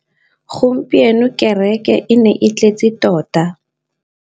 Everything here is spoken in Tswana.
Gompieno kêrêkê e ne e tletse tota.